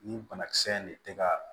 Nin banakisɛ in de tɛ ka